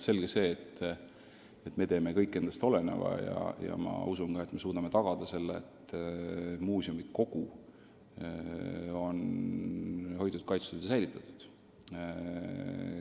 Selge see, et me teeme kõik endast oleneva, ja ma usun ka, et me suudame tagada selle, et muuseumi kogu on hoitud, kaitstud ja säilitatud.